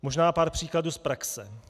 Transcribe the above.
Možná pár příkladů z praxe.